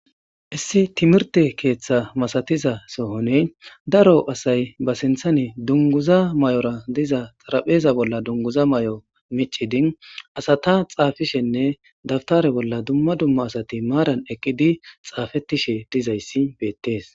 Issi timirte keeththa masatiza sohone daro asay basinthane dunguza may'ora diza xarapheeza bolla dunguza may'o micidin asata xaafishenne daftare bolla dumma dumma asati maaran ekkidi xaafettishe dizayssi beettees.